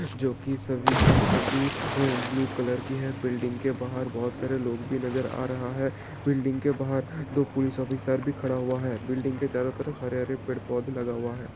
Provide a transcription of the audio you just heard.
जो कि सभी के सभी अ ब्लू कलर की है बिल्डिंग के बाहर बहोत सारा लोग भी नजर आ रहा है बिल्डिंग के बाहर दो पुलिस ऑफिसर भी खड़ा हुआ है बिल्डिंग के चारों तरफ हरे हरे पेड़ पौध लगा हुआ है।